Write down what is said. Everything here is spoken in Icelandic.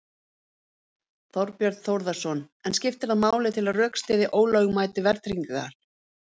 Þorbjörn Þórðarson: En skiptir það máli til að rökstyðja ólögmæti verðtryggingar?